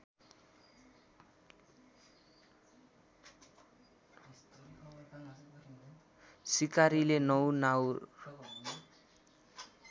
सिकारीले ९ नाउर